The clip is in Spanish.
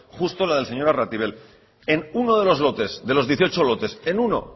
justo la del señor arratible en uno de los lotes de los dieciocho lotes en uno